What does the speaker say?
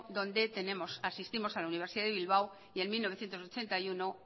donde asistimos a la universidad de bilbao y en mil novecientos ochenta y uno